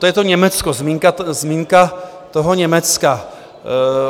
To je to Německo, zmínka toho Německa...